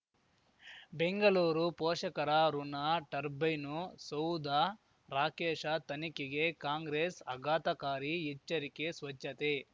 ಬೆಂಗಳೂರು ಪೋಷಕರಋನ ಟರ್ಬೈನು ಸೌಧ ರಾಕೇಶ ತನಿಖೆಗೆ ಕಾಂಗ್ರೆಸ್ ಅಘಾತಕಾರಿ ಎಚ್ಚರಿಕೆ ಸ್ವಚ್ಛತೆ